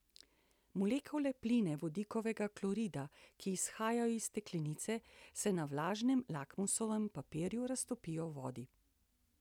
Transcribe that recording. Molekule plina vodikovega klorida, ki izhajajo iz steklenice, se na vlažnem lakmusovem papirju raztopijo v vodi.